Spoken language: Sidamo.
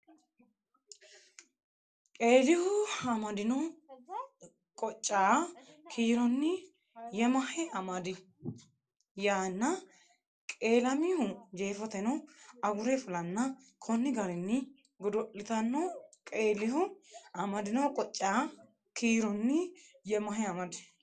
Qeelihu amadino qoccaa kiironni yemahe amadi yaanna qeelamihu Jeefoteno agure fulanna konni garinni godo litanno Qeelihu amadino qoccaa kiironni yemahe amadi.